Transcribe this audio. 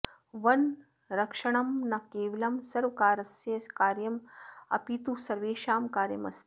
वनरक्षणं न केवलं सर्वकारस्य कार्यम् अपितु सर्वेषां कार्यमस्ति